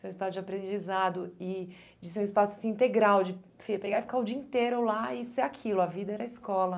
Seu espaço de aprendizado e de ser um espaço assim integral, de você pegar e ficar o dia inteiro lá e ser aquilo, a vida era a escola.